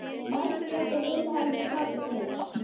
Margrét og Vilhelm sátu kyrr.